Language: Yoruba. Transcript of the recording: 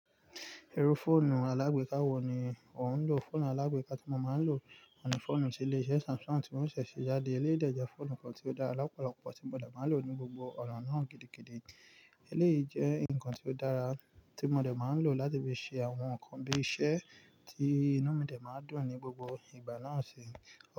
Irú fóònù alágbèká wo ni ò ń lò? Fóònù alágbèká tí mo máa ń lò ni fóònù tí ilé iṣẹ́ Samsung tí wọ́n ṣẹ̀ ṣe jáde. Eléyìí jẹ́ fóònù kan tí ó dára lopolopò tí mo dẹ̀ máa ń lò ní gbogbo ọ̀ràn náà gidigidi. Eléyìí jẹ́ ǹkan tí ó dára tí mo dẹ̀ máa ń lò láti fi ṣe àwọn ǹkan bí i iṣẹ́ tí inú mi dẹ̀ máa ń dùn ní gbogbo ìgbà náà ṣe.